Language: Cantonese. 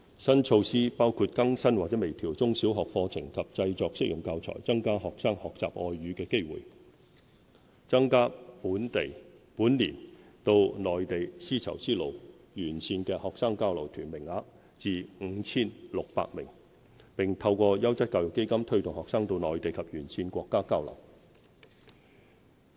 新措施包括更新或微調中小學課程及製作適用教材、增加學生學習外語的機會，增加本年到內地"絲綢之路"沿線的學生交流團名額至 5,600 名，並透過優質教育基金推動學生到內地及沿線國家交流。